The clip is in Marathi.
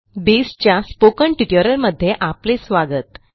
बेसच्या स्पोकन ट्युटोरियलमध्ये आपले स्वागत